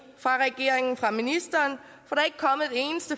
fra regeringen fra ministeren